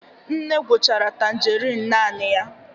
Nne gwuchara tangerine naanị ya